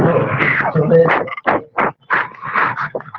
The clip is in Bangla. হোলো হোলো